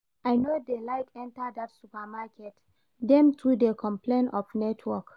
I no dey like enter that supermarket, dem too dey complain of network